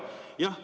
Jah.